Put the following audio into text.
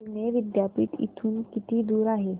पुणे विद्यापीठ इथून किती दूर आहे